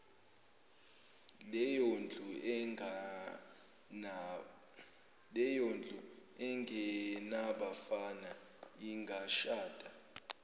leyondlu engenabafana ingashada